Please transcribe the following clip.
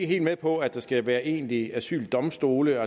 helt med på at der skal være egentlige asyldomstole